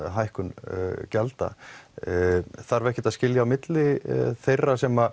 hækkun gjalda þarf ekkert að skilja á milli þeirra sem